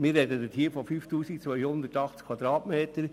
Wir sprechen von 5280 Quadratmetern.